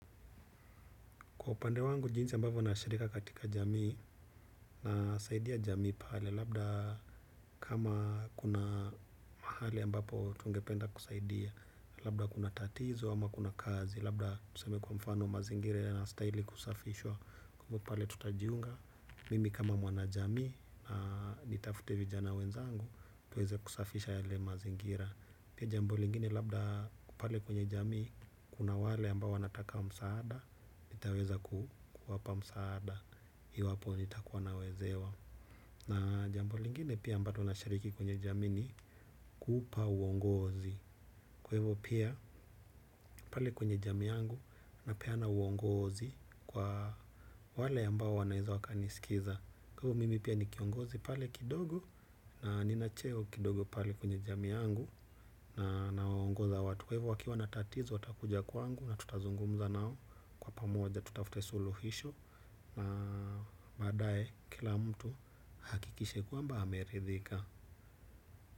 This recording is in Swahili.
Kwa upande wangu, jinsi ambapo nashirika katika jamii nasaidia jamii pale. Labda kama kuna mahali ambapo tungependa kusaidia. Labda kuna tatizo ama kuna kazi. Labda tuseme kwa mfano mazingira yanastaili kusafishwa. Kwa hiyo pale tutajiunga. Mimi kama mwanajamii na nitafute vijana wenzangu. Tuweze kusafisha yale mazingira. Pia jambo lingine labda pale kwenye jamii kuna wale ambapo wanataka msaada. Nitaweza kuwapa msaada iwapo nitakuwa nawezewa. Na jambo lingine pia ambalo nashiriki kwenye jamii ni kuupa uongozi. Kwa hivo pia pale kwenye jamii yangu. Napeana uongozi. Kwa wale ambao wanaeza wakaniskiza. Kwa hivo mimi pia ni kiongozi pale kidogo. Na nina cheo kidogo pale kwenye jamii yangu. Na nawauongoza watu. Kwa hivo wakiwa na tatizo watakuja kwangu. Na tutazungumza nao kwa pamoja tutafute suluhisho. Na badae kila mtu ahakikise kwamba ameridhika.